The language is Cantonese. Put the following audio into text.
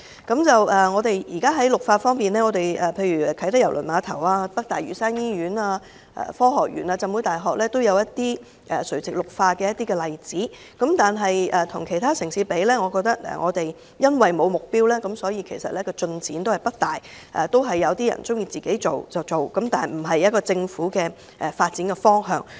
現時在垂直綠化方面，例如啟德郵輪碼頭、北大嶼山醫院、科學園和浸會大學均有垂直綠化的例子，但與其他城市相比，我認為我們欠缺目標，所以進展不大，大家各有各做，卻不是政府發展的方向。